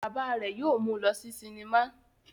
Bàbá rẹ̀ yóò mú lọ sí sinimá.